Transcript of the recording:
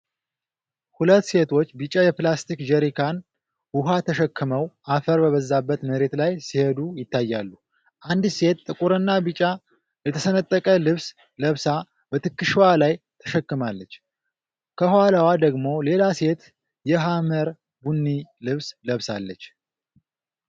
ሁለት ሴቶች ቢጫ የፕላስቲክ ጀሪካን ውሃ ተሸክመው አፈር በበዛበት መሬት ላይ ሲሄዱ ይታያሉ። አንዲት ሴት ጥቁርና ቢጫ የተሰነጠቀ ልብስ ለብሳ በትከሻዋ ላይ ተሸክማለች፤ ከኋላዋ ደግሞ ሌላ ሴት የሐመር ቡኒ ልብስ ለብሳለች።